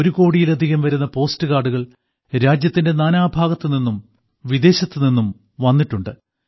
ഒരു കോടിയിലധികം വരുന്ന പോസ്റ്റ് കാർഡുകൾ രാജ്യത്തിന്റെ നാനാഭാഗത്ത് നിന്നും വിദേശത്ത് നിന്നും വന്നിട്ടുണ്ട്